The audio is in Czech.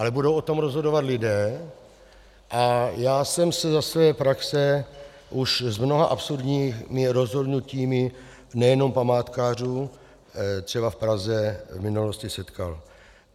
Ale budou o tom rozhodovat lidé a já jsem se za své praxe už s mnoha absurdními rozhodnutími nejenom památkářů třeba v Praze v minulosti setkal.